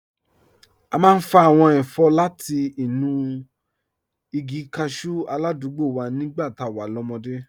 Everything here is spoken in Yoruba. A máa ń fa àwọn ẹ̀fọ́ láti inú igi cashew aládùúgbò wa nígbà tá a wà lọ́mọdé